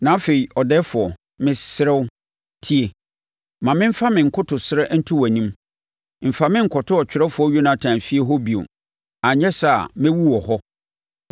Na afei, ɔdɛɛfoɔ, mesrɛ wo, tie. Ma memfa me nkotosrɛ nto wʼanim: Mfa me nkɔto ɔtwerɛfoɔ Yonatan efie hɔ bio, anyɛ saa a mɛwu wɔ hɔ.”